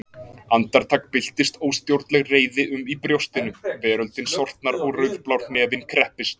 Andartak byltist óstjórnleg reiði um í brjóstinu, veröldin sortnar og rauðblár hnefinn kreppist.